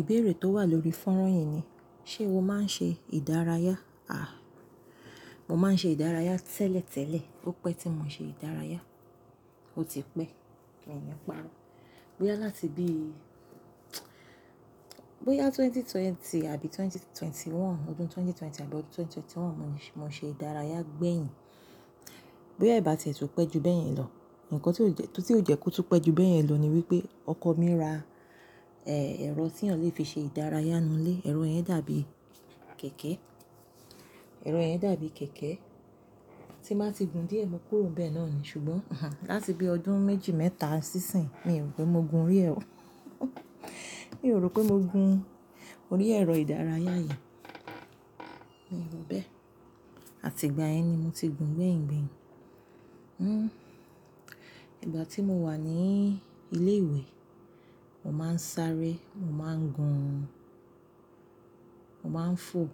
Ìbéèrè tó wà lórí fónrán yìí ni, ṣe o máa ń ṣe ìdárayá? Àh! Mo máa ń ṣe ìdárayá tẹ́lẹ̀tẹ́lẹ̀ ópẹ́ tí mo ṣe ìdárayá, ó ti pẹ́, mi ò ní páro. Bóyá láti bí-- bóyá ẹgbẹ̀rún méjì ó lé ogún àbí ẹgbẹ̀rún méjì ó lé mọ́kànlélógún, ọdún ẹgbẹ̀rún méjì ó lé ogún àbí ọdún ẹgbẹ̀rún méjì ó lé mọ́kànlélógún mo ní, mo ṣe ìdárayá gbẹ̀yìn. Bóyá ìbá ti ètù pẹ́ ju bẹ́yìn lọ, nǹkan tí ó jẹ́, kó tú pẹ́ ju bẹ́yìn lọ ni wípé ọkọ mi ra ẹ́ ẹ̀rọ tí eyen lẹ fi ṣe ìdárayá inú ilé, ẹ̀rọ yẹn dàbí kẹ̀kẹ́, ẹ̀rọ yẹn dàbí kẹ̀kẹ́ tí bá ti gùn díẹ̀, mo kúrò bẹ́ẹ̀ náà ni. Ṣùgbọ́n, láti bí ọdún méjì mẹ́ta sí ìsín, mi ò rò pé mo gun orí ẹ ò. Mi ò rò pé mo gun orí ẹ̀rọ ìdárayá yen, mi ò ro bẹ́ẹ̀. Àti ìgbà yẹn ni mo ti gùn gbẹ̀yìn. Ìgbà tí mo wà ní ilé ìwé, mo máa ń sáré, mo máa ń gun, mo máa ń fò,